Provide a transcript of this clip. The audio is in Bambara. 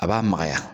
A b'a magaya